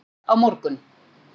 Samið á morgun